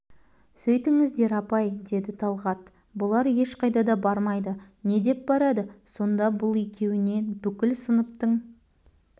сөйтіңіздер апай деді талғат бұлар ешқайда да бармайды не деп барады соңда бұл екеуіне бүкіл сыныптың